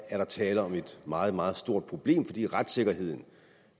er tale om et meget meget stort problem fordi retssikkerheden